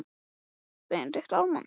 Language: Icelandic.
Reyna, reyna bílastæðahús dálítið á það?